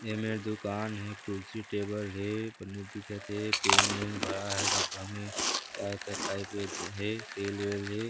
एमेर दूकान हे कुर्सी टेबल हे कनु दिखत हे पेन वेन भराए हे डब्बा में का-का खाइके जे हे सेल वेल हे।